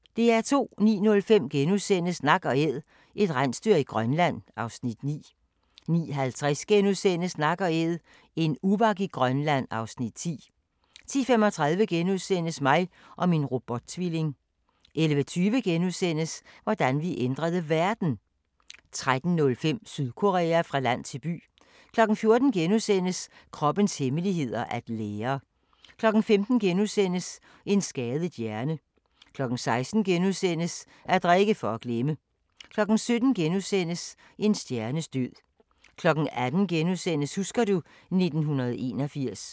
09:05: Nak & Æd – et rensdyr i Grønland (Afs. 9)* 09:50: Nak & Æd – en uvak i Grønland (Afs. 10)* 10:35: Mig og min robot-tvilling * 11:20: Hvordan vi ændrede verden! * 13:05: Sydkorea – fra land til by 14:00: Kroppens hemmeligheder: At lære * 15:00: En skadet hjerne * 16:00: At drikke for at glemme * 17:00: En stjernes død * 18:00: Husker du ... 1981 *